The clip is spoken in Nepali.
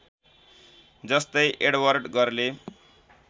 जस्तै एडवर्ड गरले